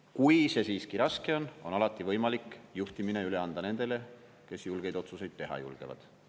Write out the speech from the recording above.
Kui see siiski raske on, on alati võimalik juhtimine üle anda nendele, kes julgeid otsuseid teha julgevad.